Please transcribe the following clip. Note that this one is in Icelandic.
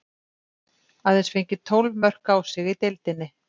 Aðeins fengið tólf mörk á sig í deildinni.